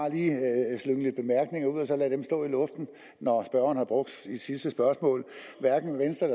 lade dem stå i luften når spørgeren har brugt sit sidste spørgsmål hverken venstre